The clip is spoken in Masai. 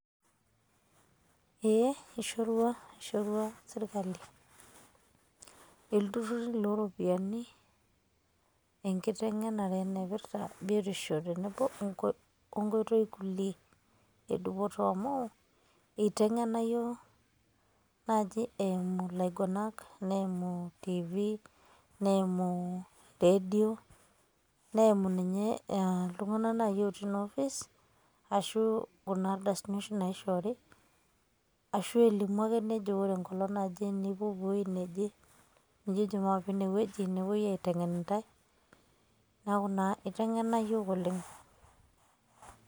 ee eishorua sirkali iltururi looropiyiani, enkiteng'enare naipirta biotisho tenebo onkotoi kulie edupoto, amu eitengena yiook naaji eimu, ilaguanak neimu .tv neimu radio neimu ninye, iltunganak naaji ootii noo facebook ashu kuna ardasini oshi naaishoori, ashu, elimu ake nejo ore enkolong naje nipuopuo ewei neje. nijojo maape ine wueji, nepuoi aaitengen intae neku naa itengena iyiook oleng.